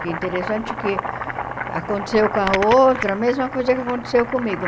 Que interessante que aconteceu com a outra a mesma coisa que aconteceu comigo.